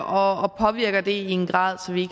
og påvirker det i en grad så vi